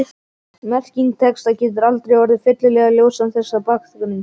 Merking texta getur aldrei orðið fyllilega ljós án þessa bakgrunns.